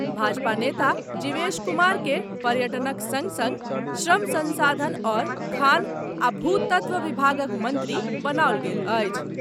भाजपा नेता जीवेश कुमारकेँ पर्यटनक सङ्ग सङ्ग श्रम संसाधन आओर खान आ भू तत्व विभागक मन्त्री बनाओल गेल अछि।